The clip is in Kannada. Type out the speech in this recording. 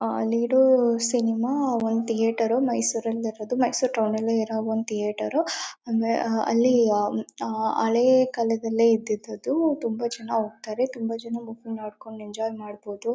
ಅಲ್ಲಿರೋ ಸಿನಿಮಾ ಥಿಯೇಟರ್ ಮೈಸೂರಲ್ಲಿ ಇರೋದು ಮೈಸೂರು ಟೌನಲ್ಲೇ ಇರೋ ಒಂದು ಥಿಯೇಟರ್ ಅಲ್ಲಿ ಹಳೆ ಕಾಲದಲ್ಲಿ ಇದ್ದಿದ್ದು ಅದು ತುಂಬಾ ಜನ ಹೋಗ್ತಾರೆ ತುಂಬಾ ಜನ ಹೋಗಿ ನೋಡ್ಕೊಂಡು ಎಂಜಾಯ್ ಮಾಡಬಹುದು.